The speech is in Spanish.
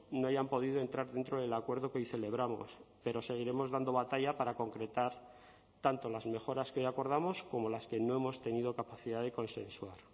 no hayan podido entrar dentro del acuerdo que hoy celebramos pero seguiremos dando batalla para concretar tanto las mejoras que hoy acordamos como las que no hemos tenido capacidad de consensuar